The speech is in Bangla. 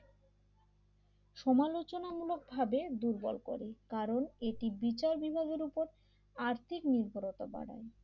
সমালোচনা মূলকভাবে দুর্বল করে কারণ এটি বিচার বিভাগের ওপর আর্থিক নির্ভরতা বাড়ায়